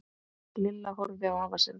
Lilla horfði á afa sinn.